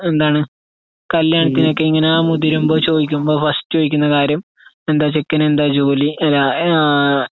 എന്താണ് കല്യാണത്തിനൊക്കെയിങ്ങനെമുതിരുമ്പൊ ചോദിക്കണ ഫസ്റ്റ്കാര്യം എന്താ ചെക്കെനെന്താജോലി, ര യാഹ്